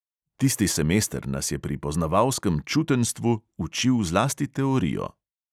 Tisti semester nas je pri poznavalskem čutenjstvu učil zlasti teorijo.